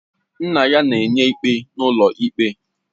Nna ya na-enye ikpe n'ụlọ ikpe